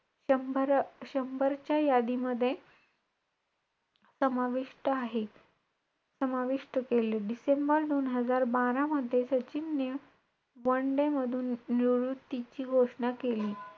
ती Cycle ने pedal मारून तो या अंतरावर या या time वर गेला cycle ने किती Pedal मारले त्याने